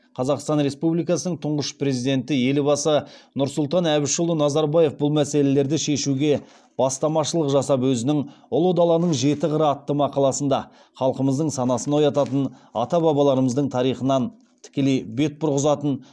қазақстан республикасының тұңғыш президенті елбасы нұрсұлтан әбішұлы назарбаев бұл мәселелерді шешуге бастамашылық жасап өзінің ұлы даланың жеті қыры атты мақаласында халқымыздың санасын оятатын ата бабаларымыздың тарихынан тікелей бет бұрғызатын